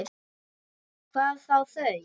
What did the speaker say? Hvað þá þau.